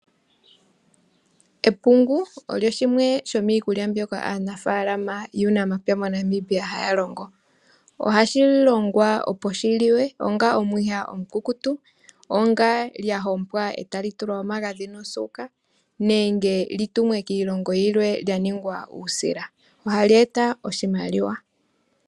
Epungu olyo shimwe shomiikulya mbyoka aanafaalama yuunampya moNamibia haya longo. Ohali longwa opo li liwe onga omwiha omukukutu, lya hompwa e tali tulwa omagadhi nosuuka nenge li tumwe kiilongo yilwe lya ningwa uusila. Ohali eta oshimaliwa.